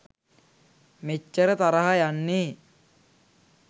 මෙච්චර තරහ යන්නේ?